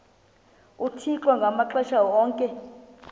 uthixo ngamaxesha onke